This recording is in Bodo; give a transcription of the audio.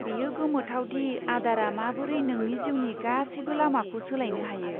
बेयो गोमोथाव दि आदारा माबोरै नोंनि जिउनि गासैबो लामाखौ सोलायनो हायो।